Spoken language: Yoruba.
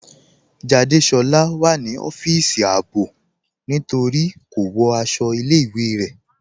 Jádésọla wà ní ọfisì àábò ní torí kò wọ́ àṣọ̀ ilẹ̀-ìwé rẹ.